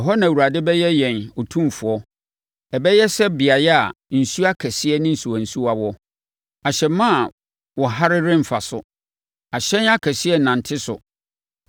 Ɛhɔ na Awurade bɛyɛ yɛn Otumfoɔ. Ɛbɛyɛ sɛ beaeɛ a nsuo akɛseɛ ne nsuwansuwa wɔ. Ahyɛmma a wɔhare remfa so; ahyɛn akɛseɛ rennante so.